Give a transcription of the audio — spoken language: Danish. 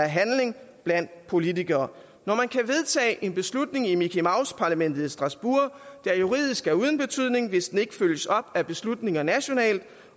handling blandt politikere når man kan vedtage en beslutning i mickey mouse parlamentet i strasbourg der juridisk er uden betydning hvis den ikke følges op af beslutninger nationalt